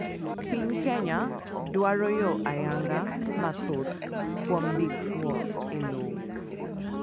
Piny Kenya dwaro yor ayanga mathoth kuom ndikruok elowo.